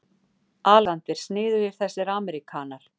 ALEXANDER: Sniðugir þessir ameríkanar.